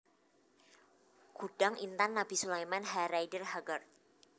Gudang Intan Nabi Sulaeman H Rider Haggard